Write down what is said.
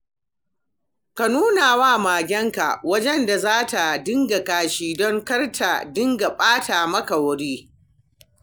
Ka nuna wa magenka wajen da za ta dinga kashi don kar ta dinga ɓata maka wuri.